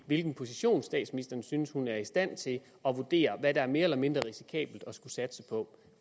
hvilken position statsministeren synes hun er stand til at vurdere hvad der er mere eller mindre risikabelt at skulle satse på